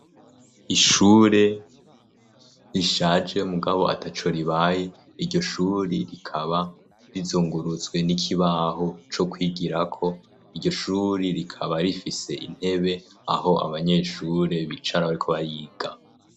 Ishure rishaje mugabo ata co ribaye, iryo shuri rikaba rizungurutswe n'ikibaho co kwigirako iryo shuri rikaba rifise intebe aho abanyeshure bicaratbariga.